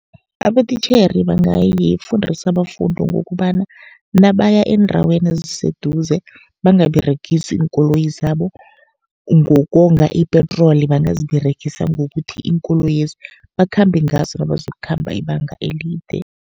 Abotitjhere bangayifundisa abafundi ngokobana nabaya eendaweni eziseduze, bangaberegisi iinkoloyi zabo. Ngokonga ipetroli bangaziberegisa ngokuthi, iinkoloyezi bakhambe ngaso nabazokukhamba ibanga elide.